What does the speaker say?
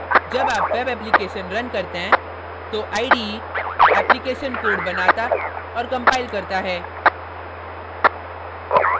जब आप web application run करते हैं तो ide application code बनाता और compiles करता है